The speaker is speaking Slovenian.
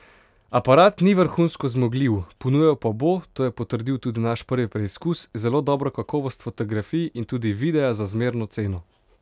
Aparat ni vrhunsko zmogljiv, ponujal pa bo, to je potrdil tudi naš prvi preizkus, zelo dobro kakovost fotografij in tudi videa za zmerno ceno.